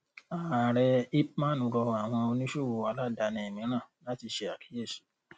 ààrẹ ipman rọ àwọn oníṣòwò aládàáni mìíràn láti ṣe àkíyèsí.